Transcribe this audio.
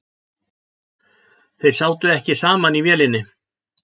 Þeir sátu ekki saman í vélinni